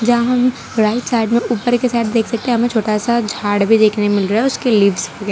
जहां में right side में ऊपर के साइड देख सकते हमें छोटा सा झाड़ भी देखने मिल रहा है उसके लिफ्स वगै --